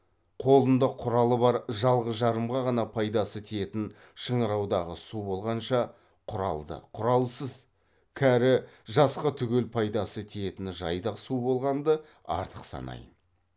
қолында құралы бар жалғыз жарымға ғана пайдасы тиетін шыңыраудағы су болғанша құралды құралсыз кәрі жасқа түгел пайдасы тиетін жайдақ су болғанды артық санаймын